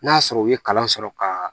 N'a sɔrɔ u ye kalan sɔrɔ ka